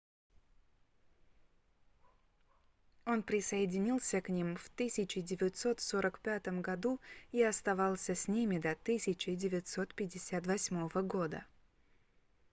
он присоединился к ним в 1945 году и оставался с ними до 1958 года